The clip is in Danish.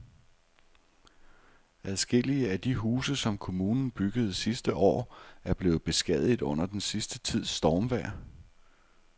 Adskillige af de huse, som kommunen byggede sidste år, er blevet beskadiget under den sidste tids stormvejr.